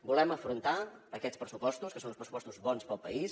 volem afrontar aquests pressupostos que són uns pressupostos bons per al país